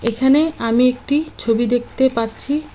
এখানে আমি একটি ছবি দেখতে পাচ্ছি।